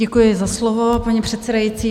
Děkuji za slovo, paní předsedající.